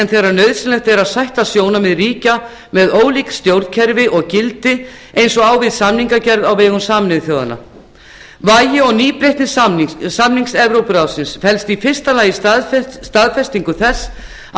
þegar nauðsynlegt er að sætta sjónarmið ríkja með ólík stjórnkerfi og gildi eins og á við samningagerð á vegum sameinuðu þjóðanna vægi og nýbreytni samninga evrópuráðsins felst í fyrsta lagi í staðfestingu þess að